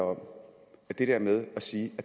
om at det der med at sige